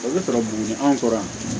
O bɛ sɔrɔ buguni anw kɔrɔ yan